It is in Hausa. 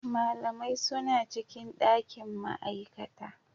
Malamai suna cikin ɗakin ma'aikata.